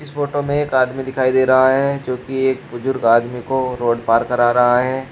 Photo में एक आदमी दिखाई दे रहा है जो की एक बुजुर्ग आदमी को रोड पार कर रहा है।